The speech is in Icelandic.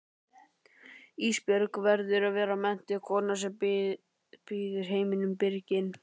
Ísbjörg verður að vera menntuð kona sem býður heiminum byrginn.